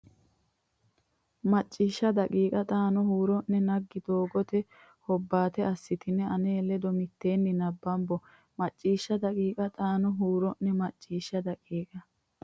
Macciishsha daqiiqa xaano huuro ne naggi Doogote Hobbaate assitine ane ledo mitteenni nabbambo Macciishsha daqiiqa xaano huuro ne Macciishsha daqiiqa.